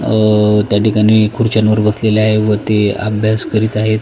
अ त्या ठिकाणी खुर्च्यांवर बसलेल्या आहे व ते अभ्यास करीत आहेत.